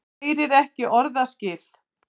Heyrir ekki orðaskil.